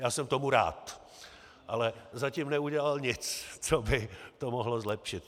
Já jsem tomu rád, ale zatím neudělal nic, co by to mohlo zlepšit.